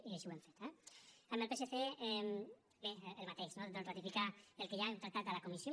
i així ho hem fet eh amb el psc bé el mateix no ratificar el que ja hem tractat a la comissió